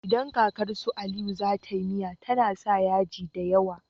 Idan kakar su aliyu zata yi miya tAna sa yaji dayawa